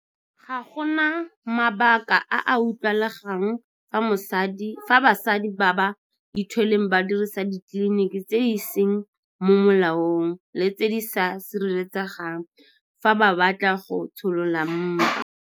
Ga go na mabaka a a utlwagalang fa basadi ba ba ithweleng ba dirisa ditleliniki tse di seng mo molaong le tse di sa sireletsegang fa ba batla go tsholola mpa.